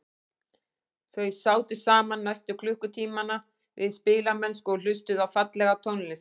Þau sátu saman næstu klukkutímana við spilamennsku og hlustuðu á fallega tónlist.